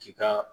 Ti ka